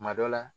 Kuma dɔ la